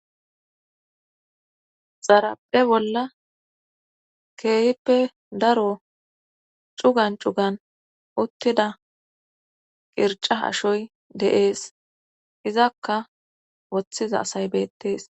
xarape bolla keeyippe daro cugan cugan uttida qirca hashoy deees izakka woththiza asay beettes